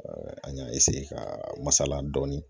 an y'a ka masala dɔɔnin